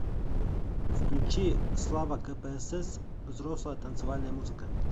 включи слава кпсс взрослая танцевальная музыка